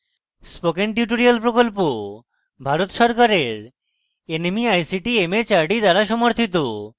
spoken tutorial প্রকল্প ভারত সরকারের nmeict mhrd দ্বারা সমর্থিত